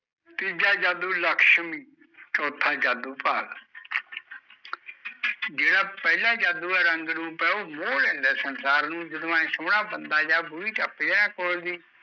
ਤੀਜਾ ਜਾਦੂ ਲਕਸ਼ਮੀ ਚੋਥਾ ਜਾਦੂ ਭਾਗ ਜਿਹੜਾ ਪਹਿਲਾਂ ਜਾਦੂ ਐ ਰੰਗ ਰੂਪ ਐ ਉਹ ਮੋਹ ਲੈਂਦਾ ਸੰਸਾਰ ਨੂੰ ਜਦੋਂ ਐ ਸੋਹਣਾ ਬੰਦਾ ਯਾ ਟਪਜੇ ਨਾ ਕੋਲ ਦੀ